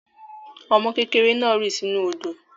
Ọmọ kékèrè naà rì sinú òdò